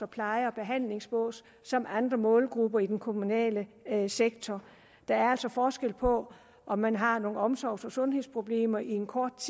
pleje og behandlingsbås som andre målgrupper i den kommunale sektor der er altså forskel på om man har nogle omsorgs og sundhedsproblemer en kort